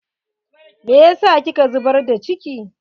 Me yasa kika zubar da ciki?